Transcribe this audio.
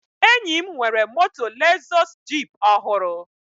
Enyi m nwere moto Lezọs jip ọhụrụ